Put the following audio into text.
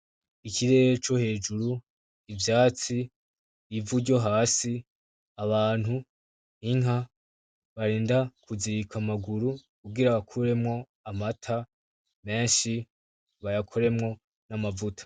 Ikirere co hejuru, ivyatsi, ivu ryo hasi abantu, inka barinda kuzirika amaguru kugira bakuremwo amata menshi bayakoremwo n'amavuta.